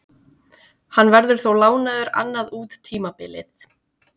Hann verður þó lánaður annað út tímabilið.